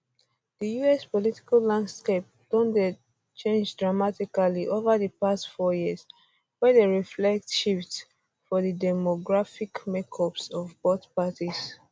di us us political landscape don dey change dramatically ova di past four years wey dey reflect shifts for di demographic makeups of both parties